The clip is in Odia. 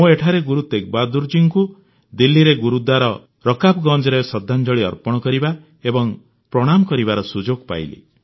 ମୁଁ ନିକଟରେ ଗୁରୁ ତେଗବାହାଦୂର ଜୀଙ୍କୁ ଦିଲ୍ଲୀରେ ଗୁରୁଦ୍ୱାର ରକାବଗଞ୍ଜରେ ଶ୍ରଦ୍ଧାଞ୍ଜଳି ଅର୍ପଣ କରିବା ଏବଂ ପ୍ରଣାମ କରିବାର ସୁଯୋଗ ପାଇଲି